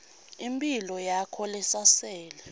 imphilo yakhe lesasele